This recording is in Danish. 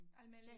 Almindelig